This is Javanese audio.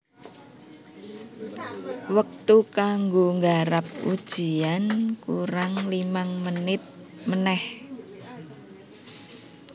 Wektu kanggo nggarap ujian kurang limang menit meneh